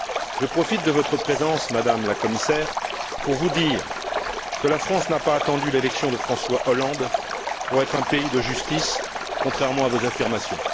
Je profite de votre présence, Madame la Commissaire, pour vous dire que la France n'a pas attendu l'élection de François Hollande pour être un pays de justice, contrairement à vos affirmations.